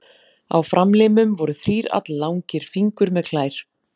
Á framlimum voru þrír alllangir fingur með klær.